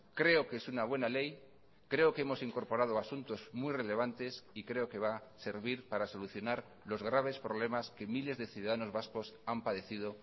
creo que es una buena ley creo que hemos incorporado asuntos muy relevantes y creo que va a servir para solucionar los graves problemas que miles de ciudadanos vascos han padecido